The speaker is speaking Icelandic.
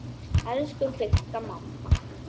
Elsku Vigga mamma.